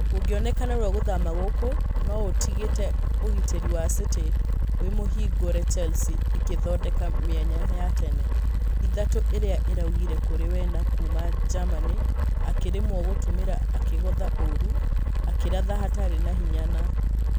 Gũgĩonekana narua gũthama gũkũ nĩũtigete ũgitĩri wa city wĩmũhingũrĩ chelsea ĩkĩthodeka mĩanya ya tene. Ĩthatũ iria iragũire kũrĩ werner kuuma germany akĩrĩmwo gũtũmĩra -akĩgotha ũru, akĩratha hatarĩ na hinya na ......